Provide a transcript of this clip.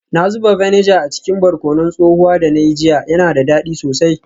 Na zuba vinegar a cikin barkonon tsohuwa da na yi jiya, yana da dadi sosai.